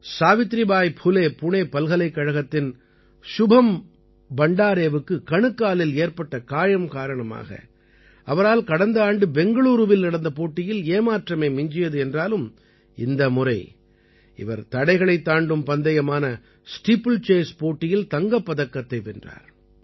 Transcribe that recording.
சாவித்திரிபாய் பூலே புணே பல்கலைக்கழகத்தின் சுபம் பண்டாரேவுக்குக் கணுக்காலில் ஏற்பட்ட காயம் காரணமாக அவரால் கடந்த ஆண்டு பெங்களூரூவில் நடந்த போட்டியில் ஏமாற்றமே மிஞ்சியது என்றாலும் இந்த முறை இவர் தடைகளைத் தாண்டும் பந்தயமான ஸ்டீப்பிள்சேஸ் போட்டியில் தங்கப்பதக்கத்தை வென்றார்